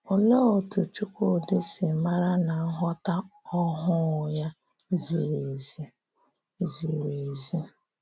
Òlee otú Chúkwúdị̀ sī mara na nghọ́tà ọhụụ ya zìrì ézì? zìrì ézì?